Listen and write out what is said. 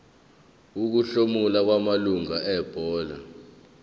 ukuhlomula kwamalungu ebhodi